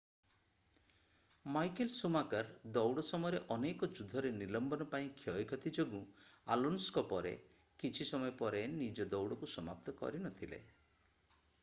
Michael Schumacher ଦୌଡ଼ ସମୟରେ ଅନେକ ଯୁଦ୍ଧରେ ନିଲମ୍ବନ ପାଇଁ କ୍ଷୟକ୍ଷତି ଯୋଗୁଁ ଆଲୋନ୍ସୋଙ୍କ ପରେ କିଛି ସମୟ ପରେ ନିଜର ଦୌଡ଼କୁ ସମାପ୍ତ କରିନଥିଲେ